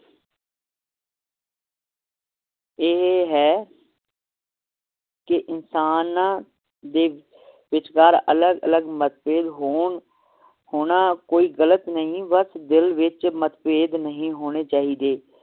ਇਹ ਹੈ ਕਿ ਇਨਸਾਨ ਦੇ ਵਿਚਕਾਰ ਅਲਗ ਅਲਗ ਮਤਭੇਦ ਹੋਣ ਹੋਣਾ ਕੋਈ ਗਲਤ ਨਹੀ ਬੱਸ ਦਿਲ ਵਿਚ ਮਤਭੇਦ ਨਹੀ ਹੋਣੇ ਚਾਹੀਦੇ